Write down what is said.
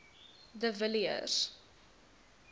de villiers